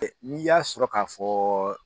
n'i y'a sɔrɔ k'a fɔ